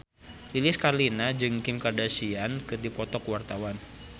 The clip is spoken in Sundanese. Lilis Karlina jeung Kim Kardashian keur dipoto ku wartawan